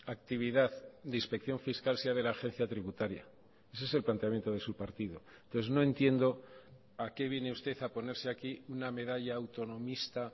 actividad de inspección fiscal sea de la agencia tributaria ese es el planteamiento de su partido entonces no entiendo a qué viene usted a ponerse aquí una medalla autonomista